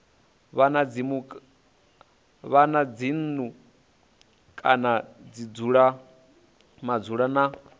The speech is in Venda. wana dzinnu kana madzulo na